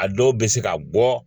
A dɔw bɛ se ka bɔ.